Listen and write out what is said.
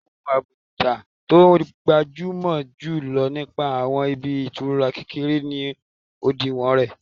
Ohun àbùdá tó gbajúmọ̀ jù lọ nípa àwọn ibi ìtura kékeré ni òdiwọ̀n rẹ̀